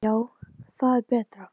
Já, það er betra.